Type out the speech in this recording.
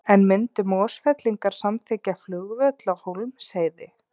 En myndu Mosfellingar samþykkja flugvöll á Hólmsheiði?